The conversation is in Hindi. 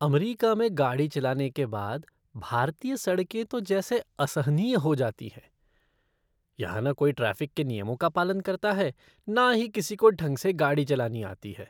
अमरीका में गाड़ी चलाने के बाद, भारतीय सड़कें तो जैसी असहनीय हो जाती हैं। यहाँ न कोई ट्रैफ़िक के नियमों का पालन करता है न ही किसी को ढंग से गाड़ी चलानी आती है।